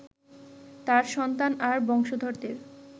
তাঁর সন্তান আর বংশধরদের